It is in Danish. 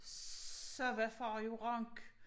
Så var far jo rank